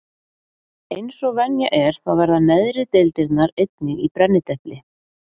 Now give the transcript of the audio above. Eins og venja er þá verða neðri deildirnar einnig í brennidepli.